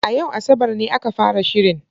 A yau Asabar ne aka fara shirin.